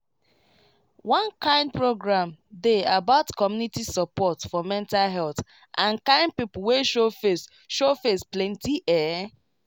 one kind program dey about community support for mental health and kind people wey show face show face plenty ehh